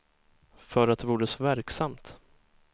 För att det vore så verksamt.